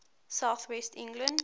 south west england